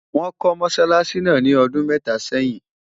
wón kò mosálási nà ní ọdún méta sẹyìn